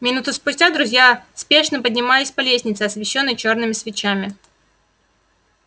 минуту спустя друзья спешно поднимались по лестнице освещённой чёрными свечами